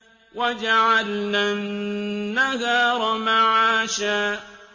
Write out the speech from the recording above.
وَجَعَلْنَا النَّهَارَ مَعَاشًا